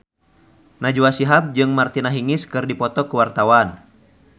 Najwa Shihab jeung Martina Hingis keur dipoto ku wartawan